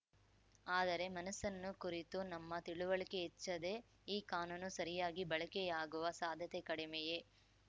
ಆದರೆ ಮನಸ್ಸನ್ನು ಕುರಿತು ನಮ್ಮ ತಿಳುವಳಿಕೆ ಹೆಚ್ಚದೆ ಈ ಕಾನೂನು ಸರಿಯಾಗಿ ಬಳಕೆಯಾಗುವ ಸಾಧ್ಯತೆ ಕಡಿಮೆಯೇ